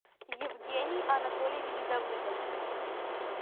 евгений анатольевич давыдов